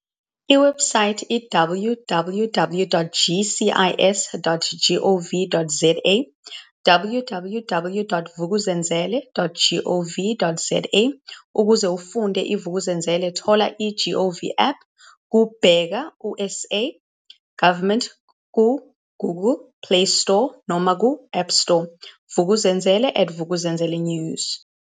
Iwebhusayithi- www.gcis.gov.za www.vukuzenzele.gov.za Ukuze ufunde iVuk'uzenzele thola i-GOVAPP ku-Bheka uSA Government kuGoogle playstore noma ku-appstore Vuk'uzenzele@VukuzenzeleNews